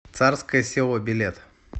царское село билет